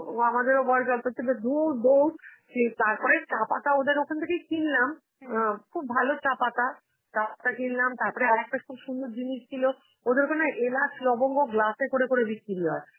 আমাদেরও বয়েস অল্প ছিল, ধুর দৌড়, সেই তারপরে চা পাতা ওদের ওখান দিয়ে কিনলাম, অ্যাঁ খুব ভালো চা পাতা, চা পাতা কিনলাম, তারপরে আর একটা খুব সুন্দর জিনিস ছিল, ওদের ওখানে এলাচ লবঙ্গ glass এ করে করে বিক্রি হয়.